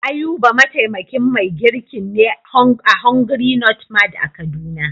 Ayuba mataimakin mai girkin ne a "hungry not mad " a kaduna.